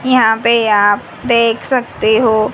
यहां पे आप देख सकते हो--